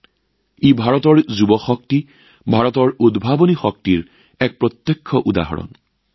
এয়াও ভাৰতৰ যুৱ শক্তিৰ প্ৰত্যক্ষ উদাহৰণ ভাৰতৰ উদ্ভাৱনী শক্তি